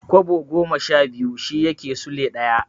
Kwabo goma sha biyu shi yake Sule ɗaya.